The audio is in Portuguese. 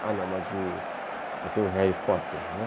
Ah, não, mas tem o Harry Potter, né?